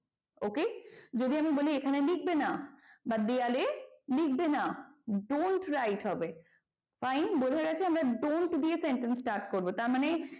OK যদি আমি বলে এখানে লিখবে না বা দেয়ালে লিখবে না don't write হবে fine বোঝা গেছে আমরা don't দিয়ে sentence start করবো তারমানে,